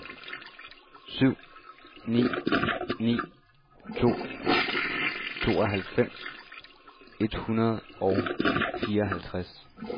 syv ni ni to tooghalvfems et hundrede og fireoghalvtreds